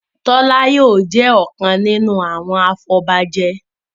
Tola yóò jé ọkàn nínú àwọn afobaje